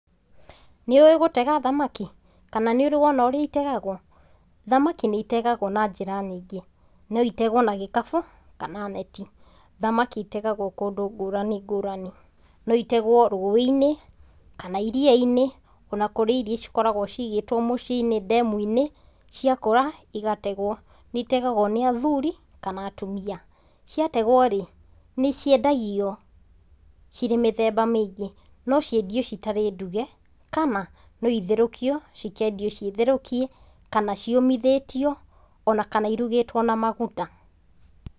Nĩũĩ gũtega thamaki kana nĩ ũrĩ wona ũrĩa itegagwo? Thamaki nĩitegagwo na njĩra nyingĩ, no itegwo na gĩkabu kana neti. Thamaki itegagwo kũndũ ngũrani ngũrani, no itegwo rũĩ-inĩ, kana iria-inĩ ona kũrĩ iria cikoragwo cigĩtwo mũciĩ-inĩ ndemu-inĩ, ciakũra igategwo. Nĩitegagwo nĩ athuri kana atumia. Ciategwo-rĩ, nĩciendagio cirĩ mĩthemba mĩingĩ, no ciendio citarĩ nduge, kana no itherũkio cikendio ciĩ therũkie, kana ciũmithĩtio ona kana irugĩtwo na maguta.